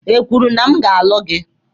Ekwuru m na a ma-alụ gị?